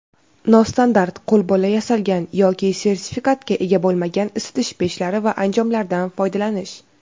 nostandart (qo‘lbola yasalgan) yoki sertifikatga ega bo‘lmagan isitish pechlari va anjomlaridan foydalanish;.